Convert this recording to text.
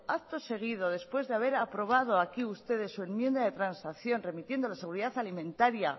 acto seguido después de haber aprobado aquí ustedes su enmienda de transacción remitiéndonos seguridad alimentaria